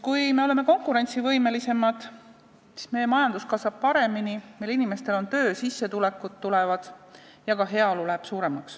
Kui me oleme konkurentsivõimelisemad, siis meie majandus kasvab paremini, meie inimestel on töö, tulevad sissetulekud ja kasvab ka heaolu.